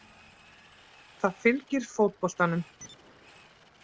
Það fylgir fótboltanum